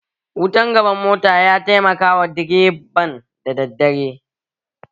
Wutan gaban mota ya taimakawa direban da daddare